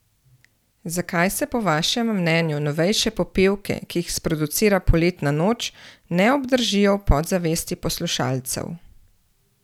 Zakaj se po vašem mnenju novejše popevke, ki jih sproducira Poletna noč, ne obdržijo v podzavesti poslušalcev?